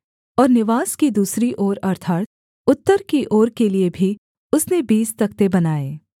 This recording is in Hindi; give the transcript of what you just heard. और निवास की दूसरी ओर अर्थात् उत्तर की ओर के लिये भी उसने बीस तख्ते बनाए